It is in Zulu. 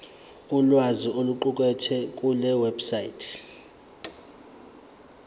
ulwazi oluqukethwe kulewebsite